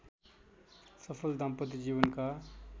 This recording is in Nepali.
सफल दाम्पत्य जीवनका